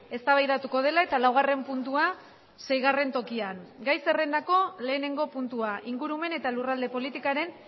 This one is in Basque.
eztabaidatuko dela eta laugarren puntua seigarren tokian gai zerrendako lehenengo puntua ingurumen eta lurralde politikaren